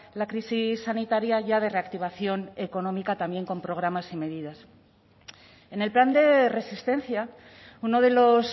la crisis sanitaria ya de reactivación económica también con programas y medidas en el plan de resistencia uno de los